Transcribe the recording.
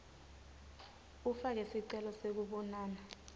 ufake sicelo sekubonana